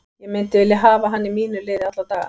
Ég myndi vilja hafa hann í mínu liði alla daga.